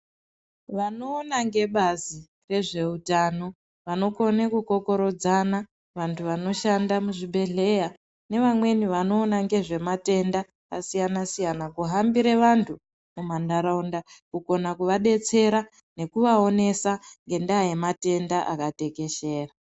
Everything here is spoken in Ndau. Vanoona ngebazi rezveutano vanokonaa kukokoredzana, vantu vanoshanda muzvibhedhleya nevamweni vanoona nezvematenda akasiyana siyana, kuhambire vantu mumandaraunda, kugona kuvadetsera ngekuvaonesa ngendaa yematenda akatekeshera.